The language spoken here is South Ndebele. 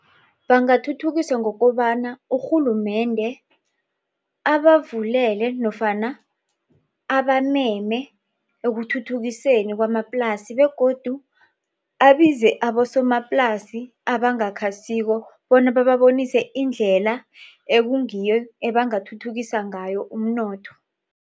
Bangathuthukisa ngokobana urhulumende abavulele nofana abameme ekuthuthukiseni kwamaplasi begodu abize abosomaplasi abangakhasiko bona bababonise indlela ekungiyo ebangathuthukisa ngayo umnotho.